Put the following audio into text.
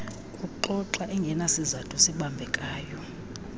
kuxoxa engenasizathu sibambekayo